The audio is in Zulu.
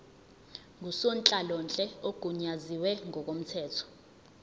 ngusonhlalonhle ogunyaziwe ngokomthetho